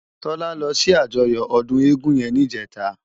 Tola lò si àjòyò òdún égùn yèn nijètá